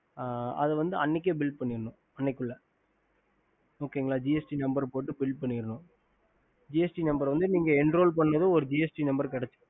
அது வந்து அன்னிக்கே bill பண்ணனும் அன்னக்கி உள்ள okay கால gst number போட்டு bill பன்னினும் gst number enroll gst number கிடச்சிட்டும்